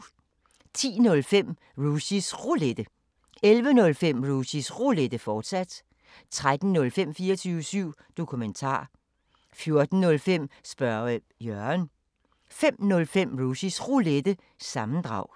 10:05: Rushys Roulette 11:05: Rushys Roulette, fortsat 13:05: 24syv Dokumentar 14:05: Spørge Jørgen 05:05: Rushys Roulette – sammendrag